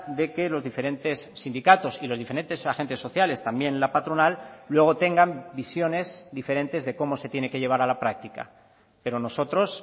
de que los diferentes sindicatos y los diferentes agentes sociales también la patronal luego tengan visiones diferentes de cómo se tiene que llevar a la práctica pero nosotros